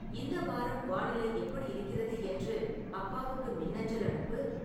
இந்த வாரம் வானிலை எப்படி இருக்கிறது என்று அப்பாவுக்கு மின்னஞ்சல் அனுப்பு